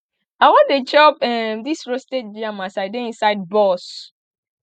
i wan dey chop um dis roasted yam as i dey inside bus